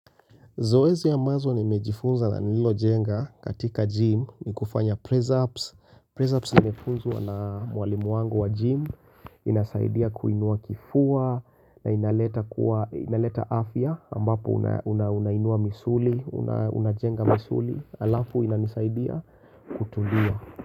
Zoezi ambazo nimejifunza na nililojenga katika gym ni kufanya press ups. Press ups nimefunza na mwalimu wangu wa gym, inasaidia kuinua kifua, na inaleta afya ambapo unainua misuli, unajenga misuli, alafu inanisaidia kutulia.